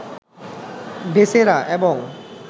viscera, এবং